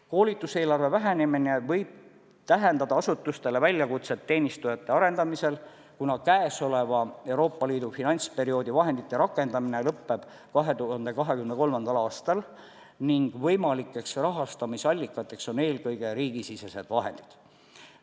Koolituseelarve vähenemine võib tähendada asutustele väljakutset teenistujate arendamisel, kuna käesoleva Euroopa Liidu finantsperioodi vahendite rakendamine lõpeb 2023. aastal ning võimalikeks rahastamisallikateks on eelkõige riigisisesed vahendid.